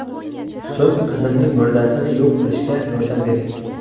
So‘ng qizimning murdasini yo‘q qilishda yordam bering.